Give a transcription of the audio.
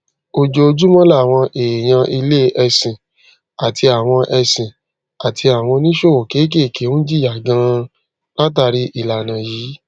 ojoojúmọ làwọn èèyàn ilé ẹsìn àti àwọn ẹsìn àti àwọn oníṣòwò kéékèèké ń jìyà ganan látàrí ìlànà yìí